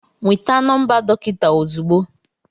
Nweta nọmba dọkịta ozugbo